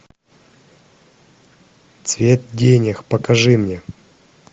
цвет денег покажи мне